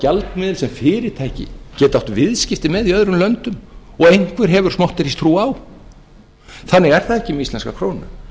gjaldmiðill sem fyrirtæki geta átt viðskipti með í öðrum löndum og einhver hefur smotteristrú á þannig er það ekki með íslenska krónu